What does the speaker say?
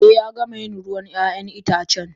Eh Ya gama yin ruwan 'ya'yan itace.